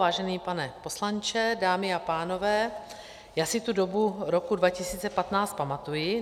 Vážený pane poslanče, dámy a pánové, já si tu dobu roku 2015 pamatuji.